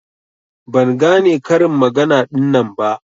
Ban gane karin magana ɗinnan ba.